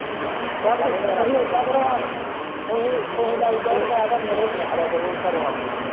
ਚੱਲ ਤੂੰ ਹੀ ਇੱਦਾ ਕਰੋ ਹਾਂ ਤੂੰ ਹੀ ਲਾਈ ਜਾਓ ਤੇ ਮੈਂ ਤੁਹਾਡੀਆਂ ਰੋਟੀਆਂ ਖੜਿਆ ਕਰੂ ਘਰੇ ਆਪਣੇ ਓ।